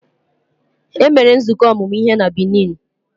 E mere nzukọ ọmụmụ ihe na Benin.